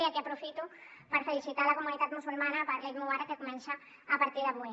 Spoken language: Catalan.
i aquí aprofito per felicitar la comunitat musulmana per l’eid mubarak que comença a partir d’avui